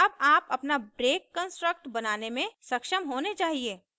अब आप अपना break कन्स्ट्रक्ट बनाने में सक्षम होने चाहिए